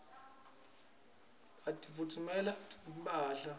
batitfungela timphahla